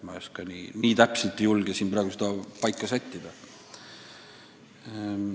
Ma ei julge siin praegu midagi kindlat öelda.